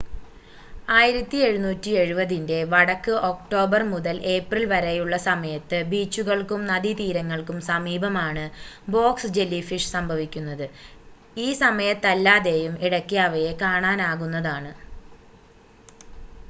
1770-ൻ്റെ വടക്ക് ഒക്ടോബർ മുതൽ ഏപ്രിൽ വരെയുള്ള സമയത്ത് ബീച്ചുകൾക്കും നദീതീരങ്ങൾക്കും സമീപമാണ് ബോക്സ് ജെല്ലിഫിഷ് സംഭവിക്കുന്നത് ഈ സമയത്തല്ലാതെയും ഇടയ്ക്ക് അവയെ കാണാനാകുന്നതാണ്